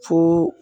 Fo